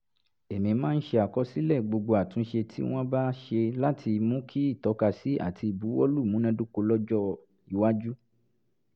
èmi máa ń ṣàkọsílẹ̀ gbogbo àtúnṣe tí wọ́n bá ṣe láti mú kí ìtọ́kásí àti ìbuwọ́lù múnádóko lọ́jọ́-iwájú